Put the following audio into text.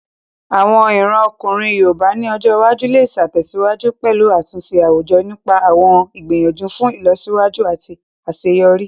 Àwọn ìran ọkùnrin yoòbá ní ọjọ́ iwájú lè tẹ̀síwájú pẹ̀lú àtúnṣe àwùjọ nípa àwọn ìgbìyànjú fún ìlọsíwájú àti àṣeyọrí